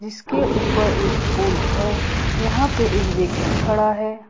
इसके ऊपर एक पुल है यहां पे एक व्यक्ति खड़ा है।